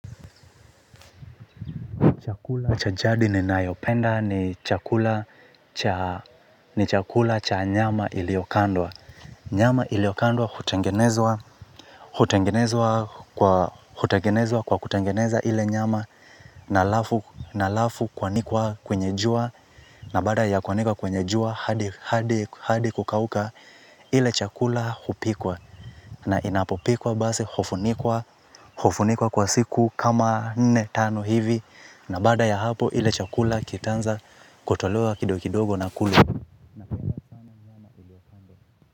Cha jadi ninayopenda ni chakula ni chakula cha nyama iliokandwa. Nyama iliokandwa hutangenezwa kwa hutangenezwa kwa hutangenezwa kwa hutangeneza ile nyama na halafu kuanikwa kwenye jua na baada ya kuanikwa kwenye jua hadi kukauka ile chakula hupikwa. Na inapopikwa basi hufunikwa kwa siku kama nne tano hivi. Na baada ya hapo ile chakula kitaanza kutolewa kidogo kidogo na kulwa.